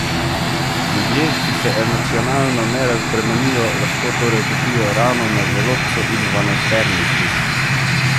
Ljudje, ki se emocionalno ne razbremenijo, lahko torej dobijo rano na želodcu in dvanajsterniku.